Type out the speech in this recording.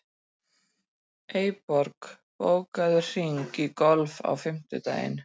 Eyborg, bókaðu hring í golf á fimmtudaginn.